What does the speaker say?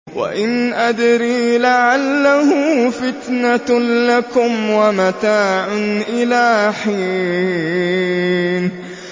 وَإِنْ أَدْرِي لَعَلَّهُ فِتْنَةٌ لَّكُمْ وَمَتَاعٌ إِلَىٰ حِينٍ